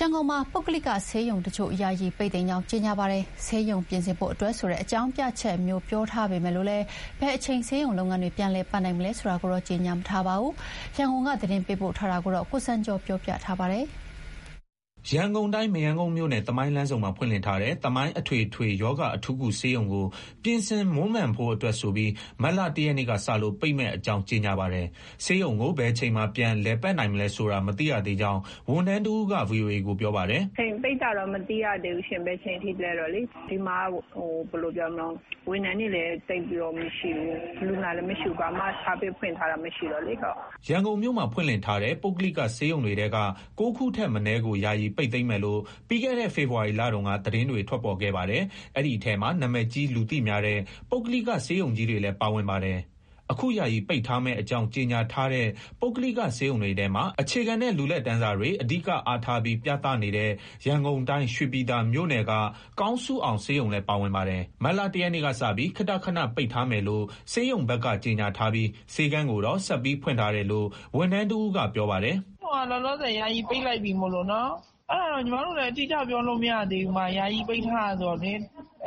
ရန်ကုန်မှာ ပုဂ္ဂလိကဆေးရုံတချို့ ယာယီ ပိတ်သိမ်းကြောင်း ကြေညာပါတယ်။ ဆေးရုံပြင်ဆင်ဖို့ အတွက်ဆိုတဲ့ အကြောင်းပြချက်မျိုး ပြောထားပေမဲ့ ဘယ်အချိန် ဆေးရုံလုပ်ငန်းတွေ ပြန်လည် လည်ပတ်နိုင်မလဲ ဆိုတာကိုတော့ ကြေညာမထားပါဘူး။ ရန်ကုန်က သတင်းပေးပို့ထားပါတယ်။ ရန်ကုန်တိုင်း မရမ်းကုန်းမြို့နယ်၊ သမိုင်းလမ်းဆုံမှာ ဖွင့်လှစ်ထားတဲ့ သမိုင်း အထွေထွေရောဂါ အထူးကုဆေးရုံကို ပြင်ဆင်မွမ်းမံရန်အတွက်ဆိုပြီး မတ်လ ၁ ရက်နေ့ကစလို့ ပိတ်မယ့်အကြောင်း ကြေညာပါတယ်။ ဆေးရုံကို ဘယ်အချိန်မှာ ပြန် လည်ပတ်နိုင်မလဲဆိုတာ မသိရသေးကြောင်း ဝန်ထမ်းတဦးက ဗွီအိုအေကိုပြောပါတယ်။ "ဘယ်အချိန်ထိ ပိတ်မယ်ဆိုတာတော့ မသိရသေးဘူးရှင့်။ ဆေးရုံမှာက ဝန်ထမ်းတွေလည်း သိပ်မရှိဘူး။ လူနာလည်းမရှိဘူး။ ဝန်ဆောင်မှုလည်း ပေးနေတာ ဘာမှမရှိဘူး။" ရန်ကုန်မြို့မှာ ဖွင့်လှစ်ထားတဲ့ ပုဂ္ဂလိကဆေးရုံတွေထဲက ၉ ခုထက်မနည်းကို ယာယီပိတ်သိမ်းမယ်လို့ ပြီးခဲ့တဲ့ ဖေဖော်ဝါရီလတုန်းက သတင်းတွေ ထွက်ပေါ်ခဲ့ပါတယ်။ အဲဒီထဲမှာ နာမည်ကြီး လူသိများတဲ့ ပုဂ္ဂလိက ဆေးရုံကြီးတွေလည်း ပါဝင်ပါတယ်။ အခု ယာယီပိတ်ထားမယ့်အကြောင်း ကြေညာထားတဲ့ ပုဂ္ဂလိကဆေးရုံတွေထဲမှာ အခြေခံနဲ့ လူလတ်တန်းစားတွေ အဓိကအားထားပြီး ပြသနေတဲ့ ရန်ကုန်တိုင်း၊ ရွှေပြည်သာမြို့နယ်က ကောင်းစုအောင်ဆေးရုံလည်း ပါဝင်ပါတယ်။ မတ်လ ၁ ရက်နေ့ကစပြီး ခေတ္တခဏ ပိတ်ထားမယ်လို့ ဆေးရုံဘက်က ကြေညာထားပြီး ဆေးခန်းကိုတော့ ဆက်ပြီးဖွင့်ထားတယ်လို့ ဝန်ထမ်းတဦးက ပြောပါတယ်။ "ဆေးရုံက လောလောဆယ် ယာယီပိတ်လိုက်ပြီ။ ဘယ်အချိန် ပြန်ဖွင့်မယ်ဆိုတာ အတိအကျ ပြောလို့မရသေးဘူး။ ယာယီပိတ်ထားတာ ဆိုတော့လေ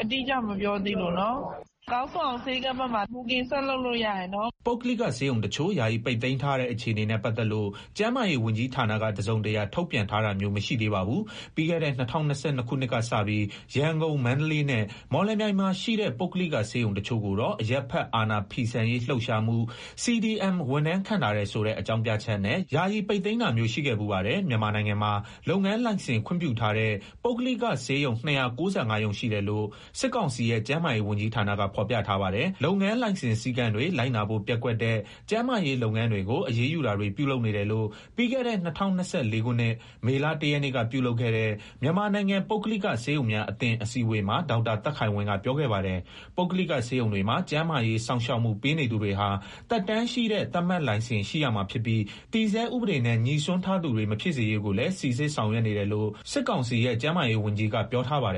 အတိအကျ မပြောသေးလို့နော်။ ကောင်းစုအောင် ဆေးခန်းဘက်မှာ ဘိုကင်ဆက်လုပ်လို့ ရပါတယ်။" ပုဂ္ဂလိကဆေးရုံတချို့ ယာယီပိတ်သိမ်းထားတဲ့ အခြေအနေနဲ့ပတ်သက်လို့ ကျန်းမာရေးဝန်ကြီးဌာနက တစုံတရာ ထုတ်ပြန်ထားတာမျိုး မရှိသေးပါဘူး။ ပြီးခဲ့တဲ့ ၂၀၂၂ ခုနှစ်ကစပြီး ရန်ကုန်၊ မန္တလေးနဲ့ မော်လမြိုင်မှာရှိတဲ့ ပုဂ္ဂလိကဆေးရုံတချို့ကိုတော့ အကြမ်းမဖက် အာဏာဖီဆန်ရေးလှုပ်ရှားမှု CDM ဝန်ထမ်း ခန့်ထားတယ်ဆိုတဲ့ အကြောင်းပြချက်နဲ့ ယာယီပိတ်သိမ်းတာမျိုး ရှိခဲ့ဖူးပါတယ်။ မြန်မာနိုင်ငံမှာ လုပ်ငန်းလိုင်စင် ခွင့်ပြုထားတဲ့ ပုဂ္ဂလိကဆေးရုံ ၂၉၅ ရုံရှိတယ်လို့ စစ်ကောင်စီရဲ့ ကျန်းမာရေးဝန်ကြီးဌာနက ဖော်ပြထားပါတယ်။ လုပ်ငန်းလိုင်စင် စည်းကမ်းတွေ လိုက်နာဖို့ ပျက်ကွက်တဲ့ ကျန်းမာရေးလုပ်ငန်းတွေကို အရေးယူတာတွေ ပြုလုပ်နေတယ်လို့ ပြီးခဲ့တဲ့ ၂၀၂၄ ခုနှစ် မေလ ၁ ရက်နေ့က ပြုလုပ်ခဲ့တဲ့ မြန်မာနိုင်ငံ ပုဂ္ဂလိကဆေးရုံများအသင်း အစည်းအဝေးမှာ ဒေါက်တာသက်ခိုင်ဝင်းက ပြောခဲ့ပါတယ်။ ပုဂ္ဂလိက ဆေးရုံတွေမှာ ကျန်းမာရေးစောင့်ရှောက်မှု ပေးနေသူတွေဟာ သက်တမ်းရှိတဲ့ သတ်မှတ်လိုင်စင် ရှိရမှာဖြစ်ပြီး တည်ဆဲဥပဒေနဲ့ ငြိစွန်းထားသူတွေ မဖြစ်စေရေးကိုလည်း စိစစ်ဆောင်ရွက်နေတယ်လို့ စစ်ကောင်စီရဲ့ ကျန်းမာရေးဝန်ကြီးက ပြောထားပါတယ်